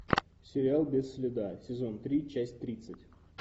сериал без следа сезон три часть тридцать